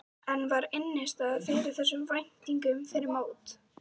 En var innistæða fyrir þessum væntingum fyrir mót?